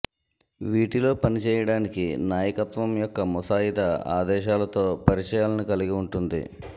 వీటిలో పనిచేయడానికి నాయకత్వం యొక్క ముసాయిదా ఆదేశాలతో పరిచయాలను కలిగి ఉంటుంది